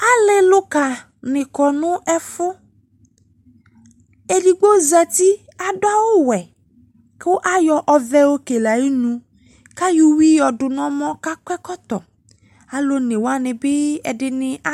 Ale luka ne kɔ no ɛfo Edigbo zati, ado awuwɛ ko ayɔ ɔvɛ yɔ kele ayenu ka yɔ uwi yɔ do no ɔmɔ kakɔ ɛkɔtɔ Alu one wane be ɛdene a